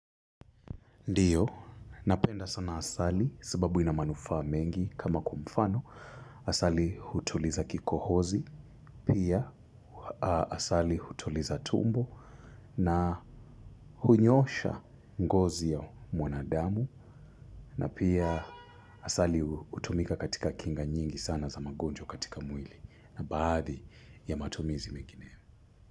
Ndiyo, napenda sana asali sababu ina manufaa mengi kama kwa mfano, asali hutuliza kikohozi, pia asali hutuliza tumbo na hunyoosha ngozi ya mwanadamu, na pia asali hutumika katika kinga nyingi sana za magonjwa katika mwili, na baadhi ya matumizi mengine.